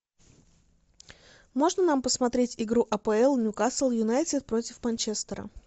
можно нам посмотреть игру апл ньюкасл юнайтед против манчестера